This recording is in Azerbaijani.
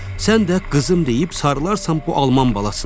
Sən də qızım deyib sarılarsan bu Alman balasına.